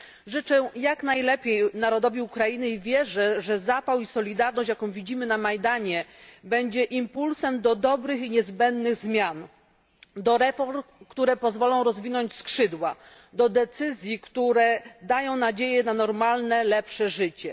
Życzę jak najlepiej narodowi Ukrainy i wierzę, że zapał i solidarność, jaką widzimy na Majdanie, będzie impulsem do dobrych i niezbędnych zmian, do reform, które pozwolą rozwinąć skrzydła, do decyzji, które dają nadzieję na normalne, lepsze życie.